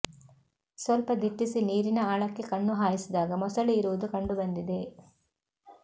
ಸ್ವಲ್ಪ ದಿಟ್ಟಿಸಿ ನೀರಿನ ಆಳಕ್ಕೆ ಕಣ್ಣು ಹಾಯಿಸಿದಾಗ ಮೊಸಳೆ ಇರುವುದು ಕಂಡುಬಂದಿದೆ